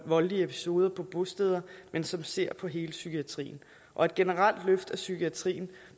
voldelige episoder på bosteder men som ser på hele psykiatrien og et generelt løft af psykiatrien